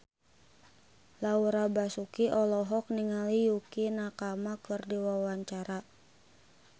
Laura Basuki olohok ningali Yukie Nakama keur diwawancara